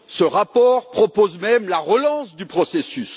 Ce rapport propose même la relance du processus.